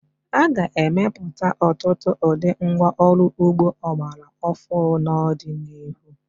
A ga-emepụta ọtụtụ ụdị ngwá ọrụ ugbo ọgbara ọfụụ n'ọdịnihu.